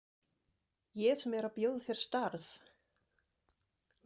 Ég sem er að bjóða þér starf!